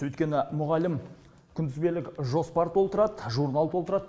өйткені мұғалім күнтізбелік жоспар толтырады журнал толтырады